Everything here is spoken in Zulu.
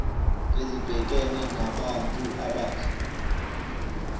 ezibhekene nabantu abasha